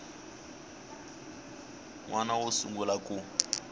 n wana wo sungula ku